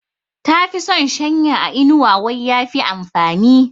Ta fi son shanya a inuwa wai ya fi amfani.